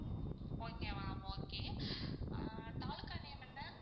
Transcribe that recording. okay ma'am okay ah taluka name என்ன?